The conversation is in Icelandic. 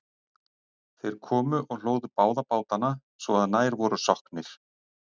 Þeir komu og hlóðu báða bátana svo að nær voru sokknir.